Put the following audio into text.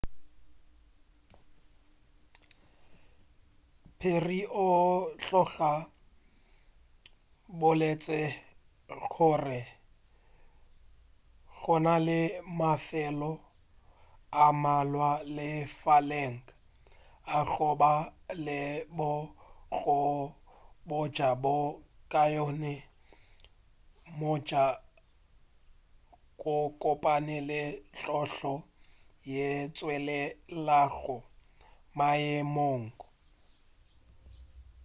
perry o tloga a boletše gore gona le mafelo a mmalwa lefaseng a go ba le bokgone bjo bo kaone bja go kopana le tlhotlo yeo e tšwelelago maemong a